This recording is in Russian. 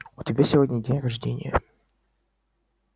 у тебя сегодня день рождения